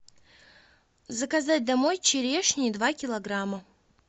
заказать домой черешни два килограмма